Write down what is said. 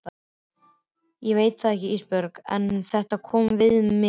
Ég veit það ekki Ísbjörg en þetta kom við mig.